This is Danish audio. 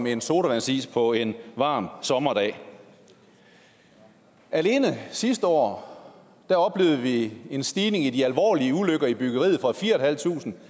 en sodavandsis på en varm sommerdag alene sidste år oplevede vi en stigning i de alvorlige ulykker i byggeriet fra fire tusind